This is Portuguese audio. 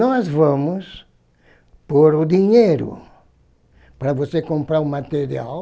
Nós vamos pôr o dinheiro para você comprar o material.